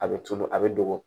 A bɛ tunu a bɛ dogo